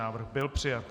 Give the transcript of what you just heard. Návrh byl přijat.